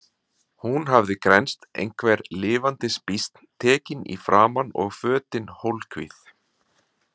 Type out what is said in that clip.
Hún hafði grennst einhver lifandis býsn, tekin í framan og fötin hólkvíð.